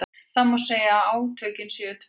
Það má segja að átökin séu tvenns konar.